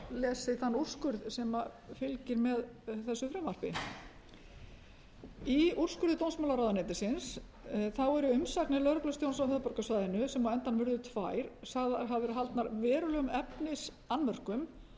lesið þann úrskurð sem fylgir með þessu frumvarpi í úrskurði dómsmálaráðuneytisins þá eru umsagnir lögreglustjórans á höfuðborgarsvæðinu sem á endanum urðu tvær hafa verið haldnar verulegum efnisannmörkum